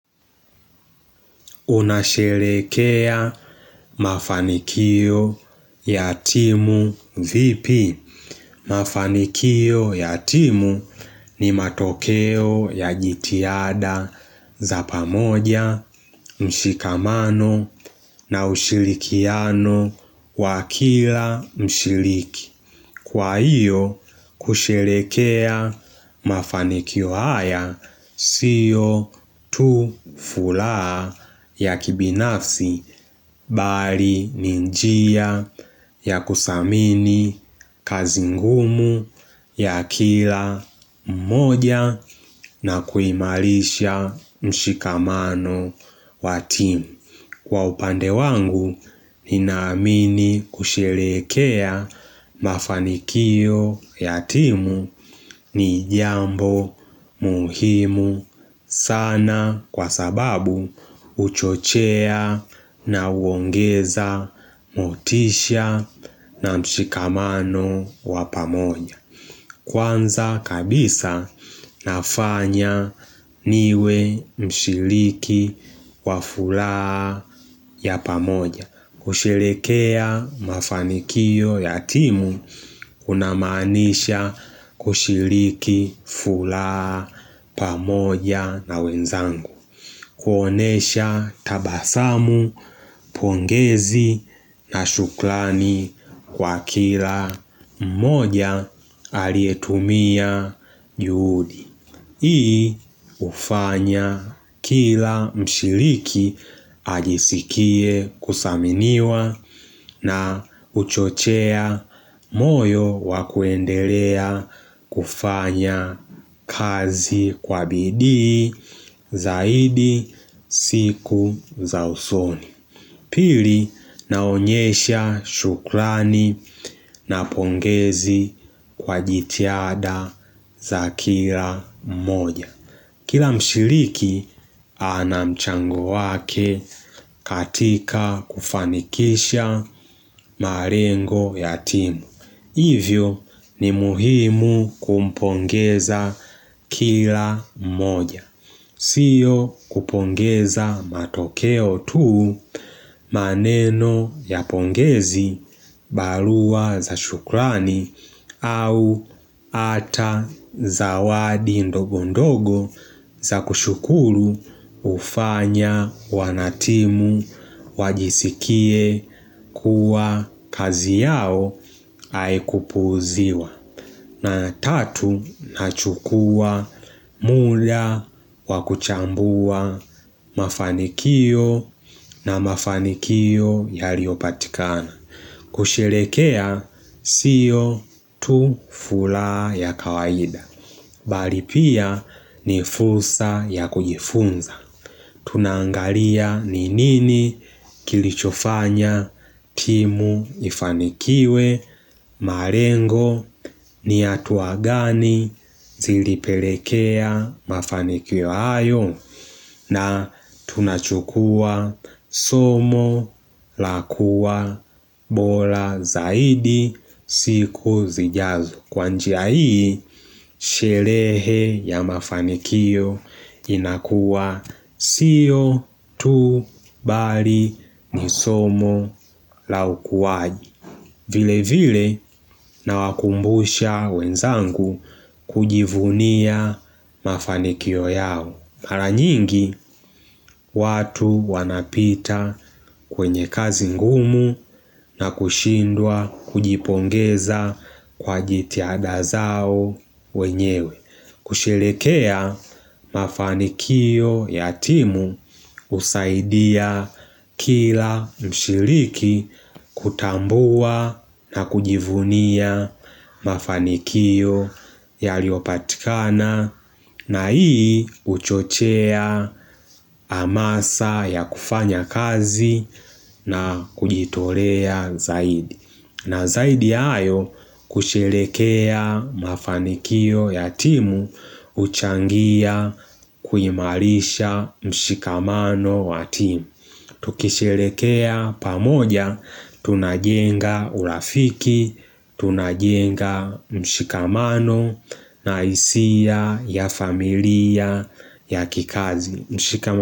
Unasherehekea mafanikio ya timu vipi? Mafanikio ya timu ni matokeo ya jitihada za pamoja mshikamano na ushirikiano wakila mshiriki. Kwa hiyo kusherehekea mafanikio haya siyo tu furaha ya kibinafsi Bali ni njia ya kudhamini kazi ngumu ya kila mmoja na kuimarisha mshikamano wa team Kwa upande wangu, nina amini kusherehekea mafanikio ya timu ni jambo muhimu sana kwa sababu huchochea na huongeza motisha na mshikamano wapamoja. Kwanza kabisa nafanya niwe mshiriki wa furaha ya pamoja kusherehekea mafanikio ya timu unamaanisha kushiriki furaha pamoja na wenzangu kuonyesha tabasamu pongezi na shukrani kwa kila mmoja Alietumia juhudi Hii hufanya kila mshiriki ajisikie kudhaminiwa na huchochea moyo wakuendelea kufanya kazi kwa bidii Zaidi siku za usoni Pili naonyesha shukrani na pongezi kwa jitihada za kila mmoja Kila mshiriki anamchango wake katika kufanikisha malengo ya timu Hivyo ni muhimu kumpongeza kila mmoja siyo kupongeza matokeo tuu maneno ya pongezi barua za shukrani au hata zawadi ndogondogo za kushukuru hufanya wanatimu wajisikie kuwa kazi yao haikupuuziwa. Na tatu nachukua muda wakuchambua mafanikio na mafanikio yaliyopatikana. Kusherehekea sio tu furaha ya kawaida Bali pia ni fursa ya kujifunza Tuna angalia ni nini kilichofanya timu ifanikiwe malengo ni hatua gani zilipelekea mafanikio hayo na tunachukua somo la kuwa bora zaidi siku zijazo. Kwa njia hii, sherehe ya mafanikio inakuwa sio tu bali ni somo la ukuwaji. Vile vile na wakumbusha wenzangu kujivunia mafanikio yao. Mara nyingi watu wanapita kwenye kazi ngumu na kushindwa kujipongeza kwa jitihada zao wenyewe kusherehekea mafanikio ya timu husaidia kila mshiriki kutambua na kujivunia mafanikio yaliyopatikana na hii huchochea hamasa ya kufanya kazi na kujitolea zaidi. Na zaidi ya hayo kusherehekea mafanikio ya timu huchangia kuimarisha mshikamano wa timu. Tukisherehekea pamoja, tunajenga urafiki, tunajenga mshikamano, nahisia, ya familia, ya kikazi.